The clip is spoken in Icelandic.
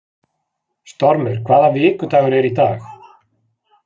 Stormur, hvaða vikudagur er í dag?